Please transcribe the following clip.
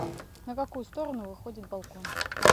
на какую сторону выходит балкон